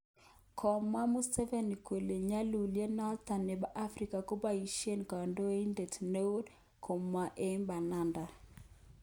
Kamwa Museveni kole nyalulet noton nebo Africa koboishen konetidet neo, komog eng bananda.